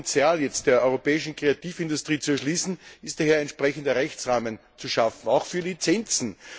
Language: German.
Um das Potenzial der europäischen Kreativindustrie zu erschließen, ist daher ein entsprechender Rechtsrahmen zu schaffen, auch für Lizenzen.